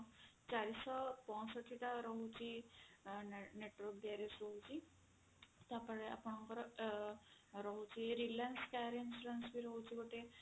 ଚାରିଶହ ପଞ୍ଚଷଠି ଟା ରହୁଛି network garage ରହୁଛି ତାପରେ ଆପଣଙ୍କର ରହୁଛି reliance car insurance ବି ରହୁଛି ଗୋଟେ